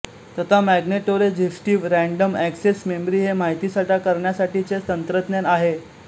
तथा magnetoresistive random access memory हे माहितीसाठा करण्यासाठीचे तंत्रज्ञान आहे